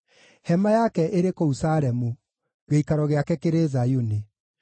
Hema yake ĩrĩ kũu Salemu, gĩikaro gĩake kĩrĩ Zayuni.